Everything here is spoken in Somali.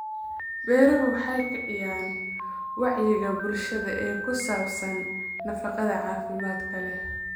Beeruhu waxay kiciyaan wacyiga bulshada ee ku saabsan nafaqada caafimaadka leh.